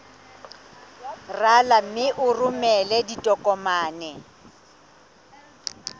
rala mme o romele ditokomene